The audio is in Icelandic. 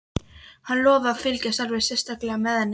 Hann lofaði að fylgjast alveg sérstaklega með henni.